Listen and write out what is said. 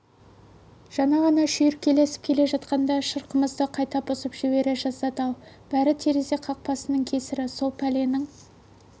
жаңа ғана шүйіркелесіп келе жатқанда шырқымызды қайта бұзып жібере жаздады-ау бәрі терезе қақпағының кесірі сол пәленің